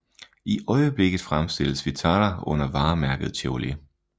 I øjeblikket fremstilles Vitara under varemærket Chevrolet